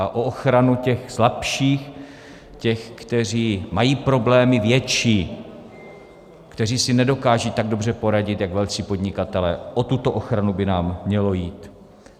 A o ochranu těch slabších, těch, kteří mají problémy větší, kteří si nedokážou tak dobře poradit jak velcí podnikatelé, o tuto ochranu by nám mělo jít.